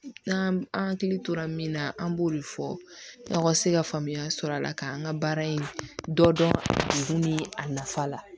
N'an an hakili tora min na an b'o de fɔ aw ka se ka faamuya sɔrɔ a la ka an ka baara in dɔ dun ni a nafa la